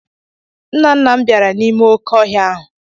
Nna nna m bara n'ime oké ọhịa ahụ.